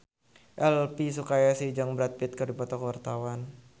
Elvy Sukaesih jeung Brad Pitt keur dipoto ku wartawan